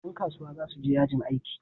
Dan kasuwa za su je yajin aiki